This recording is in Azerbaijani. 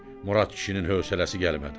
Murad kişinin hövsələsi gəlmədi.